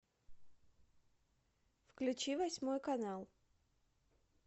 включи восьмой канал